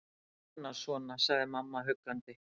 Svona. svona. sagði mamma huggandi.